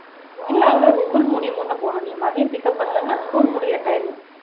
இல்லை அவ்வளவு school முடியும்போதுதான் போகணும் நீ மதியம் pick up பண்ணலைன்னா school முடியற time